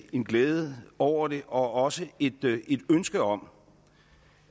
en glæde over det og også et ønske om